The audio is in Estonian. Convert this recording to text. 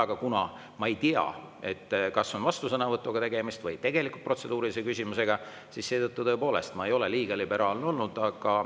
Aga kuna ma ei tea, kas on vastusõnavõtu tegemist või tõesti protseduurilise küsimusega, siis seetõttu ma tõepoolest ei ole liiga liberaalne olnud.